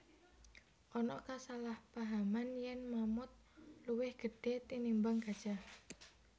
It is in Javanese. Ana kasalahpahaman yèn mamut luwih gedhé tinimbang gajah